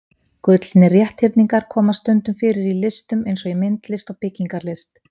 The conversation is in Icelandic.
Gullnir rétthyrningar koma stundum fyrir í listum eins og í myndlist og byggingarlist.